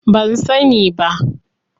Ban sani ba.